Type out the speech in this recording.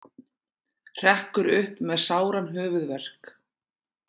Hrekkur upp með sáran höfuðverk.